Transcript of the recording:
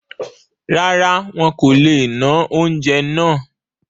Rárá, wọn kò le ná oúnjẹ náà